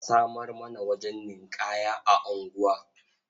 A samar mana wajen ninƙaya a unguwa.